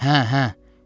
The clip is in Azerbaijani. Hə, hə.